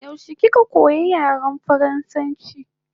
Yaushe kika koya yaren faransanchi?